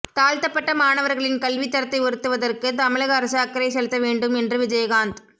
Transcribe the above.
தாழ்த்தப்பட்ட மாணவர்களின் கல்வித்தரத்தை உயர்த்துவதற்கு தமிழக அரசு அக்கறை செலுத்த வேண்டும் என்று விஜயகாந்த்